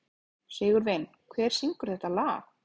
Sigurvin, hver syngur þetta lag?